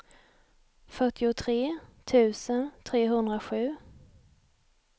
fyrtiotre tusen trehundrasju